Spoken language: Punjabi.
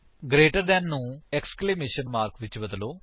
ਗਰੇਟਰ ਦੈਨ ਨੂੰ ਏਕਸਕਲੇਮੇਸ਼ਨ ਮਾਰਕ ਵਿਚ ਬਦਲੋ